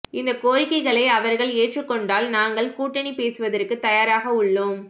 இந்த கோரிக்கைகளை அவர்கள் ஏற்றுக் கொண்டால் நாங்கள் கூட்டணி பேசுவதற்கு தயாராக உள்ளோம்